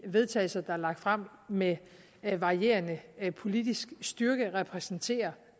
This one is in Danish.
vedtagelser der er lagt frem med med varierende politisk styrke repræsenterer